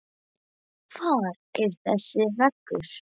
Hvar er þessi vegur?